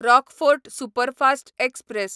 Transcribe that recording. Rockfort superfast express